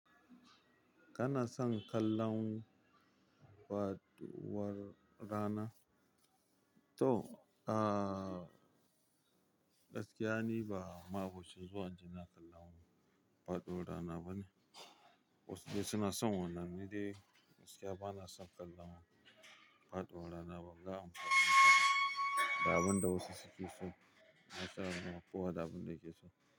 Kana son kallaun faɗuwar rana? To, ah gaskiya ni ba, ma'aboci zuwan inje ina kallon faɗuwar rana bane. Wasu dai suna son wannan ni dai, gaskiya bana son kallon faɗuwar rana banga amfanin haka ba. Da abin da wasu suke so, kasan kowa da abin da yake so.